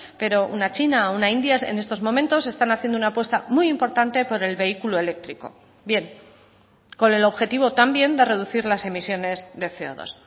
pero una china una india en estos momentos están haciendo una apuesta muy importante por el vehículo eléctrico bien con el objetivo también de reducir las emisiones de ce o dos